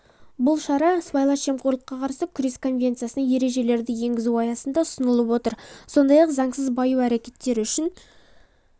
бұл шара сыбайлас жемқорлыққа қарсы күрес конвенциясына ережелердіенгізу аясында ұсынылып отыр сондай-ақ заңсыз баю әрекеттері үшін